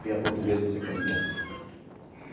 Ver a Portuguesa ser campeã.